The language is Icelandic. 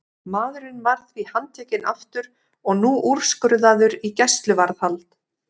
Maðurinn var því handtekinn aftur og nú úrskurðaður í gæsluvarðhald.